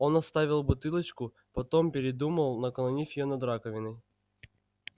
он отставил бутылочку потом передумал наклонил её над раковиной